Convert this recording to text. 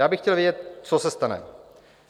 Já bych chtěl vědět, co se stane.